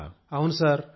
90 లక్షలా